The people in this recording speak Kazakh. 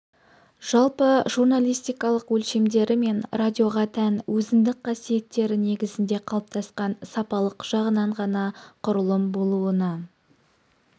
жалпы журналистикалық өлшемдері мен радиоға тән өзіндік қасиеттері негізінде қалыптасқан сапалық жағынан ғана құрылым болуына